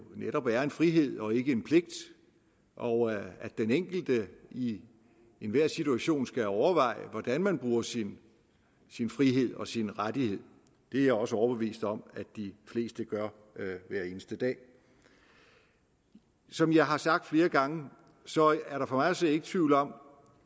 netop er en frihed og ikke en pligt og at den enkelte i enhver situation skal overveje hvordan man bruger sin sin frihed og sin rettighed det er jeg også overbevist om at de fleste gør hver eneste dag som jeg har sagt flere gange er der for mig at se ikke tvivl om